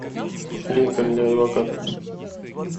линкольн для адвоката